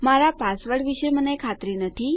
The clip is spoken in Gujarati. મારા પાસવર્ડ વિશે મને ખાતરી નથી